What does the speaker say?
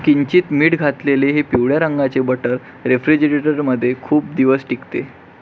किंचित मीठ घातलेले हे पिवळ्या रंगाचे बटर रेफ्रीजरेटर मध्ये खूप दिवस टिकते.